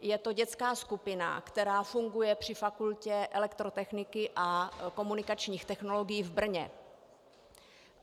Je to dětská skupina, která funguje při Fakultě elektrotechniky a komunikačních technologií v Brně.